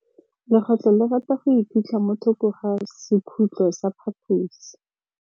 Legôtlô le rata go iphitlha mo thokô ga sekhutlo sa phaposi.